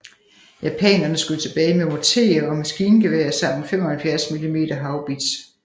Japanerne skød tilbage med morterer og maskingeværer samt en 75 mm haubits